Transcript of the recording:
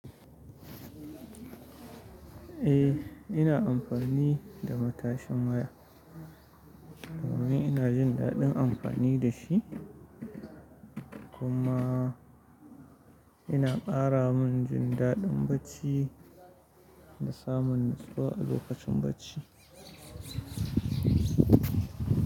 Eh, ina amfani da matashin waya. Domin ina jin daɗin amfani da shi, kuma yana ƙara min jin daɗin barci da samun nutsuwa a lokacin barci.